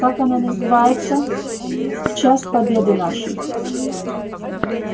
как она называется в час победы нашей